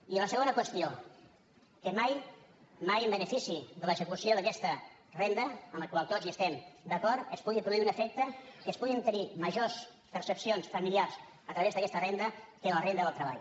i la segona qüestió que mai mai en benefici de l’execució d’aquesta renda amb la qual tots hi estem d’acord es pugui produir un efecte que es puguin obtenir majors percepcions familiars a través d’aquesta renda que de la renda del treball